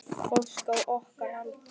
Fólk á okkar aldri.